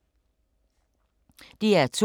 DR2